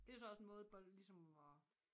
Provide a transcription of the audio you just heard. Det jo så også en måde bol ligesom at